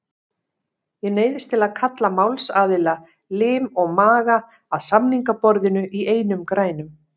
Ég neyðist til að kalla málsaðila, lim og maga, að samningaborðinu í einum grænum.